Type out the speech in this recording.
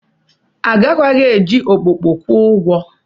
Agakwaghị eji okpokpo kwụọ ụgwọ.